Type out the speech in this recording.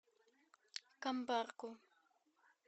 камбарку